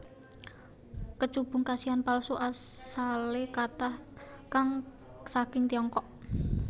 Kecubung kasihan palsu asalé kathah kang saking Tiongkok